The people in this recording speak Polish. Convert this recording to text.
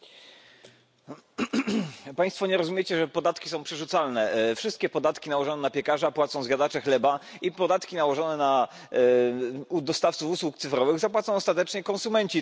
Panie Przewodniczący! Państwo nie rozumiecie, że podatki są przerzucalne. Wszystkie podatki nałożone na piekarza płacą zjadacze chleba i podatki nałożone na dostawców usług cyfrowych zapłacą ostatecznie konsumenci tych usług.